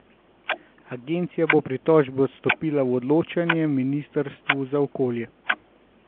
Agencija bo pritožbe odstopila v odločanje ministrstvu za okolje.